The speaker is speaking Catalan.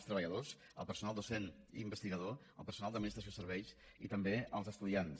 els treballadors el personal docent i investigador el personal d’administració i serveis i també els estudiants